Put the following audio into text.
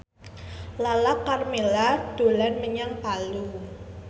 Lala Karmela dolan menyang Palu